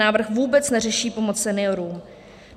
Návrh vůbec neřeší pomoc seniorům.